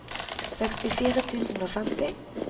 sekstifire tusen og femti